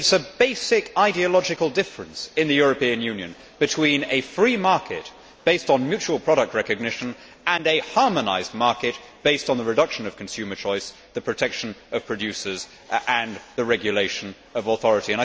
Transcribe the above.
It is a basic ideological difference in the European Union between a free market based on mutual product recognition and a harmonised market based on the reduction of consumer choice, the protection of producers and the regulation of authority.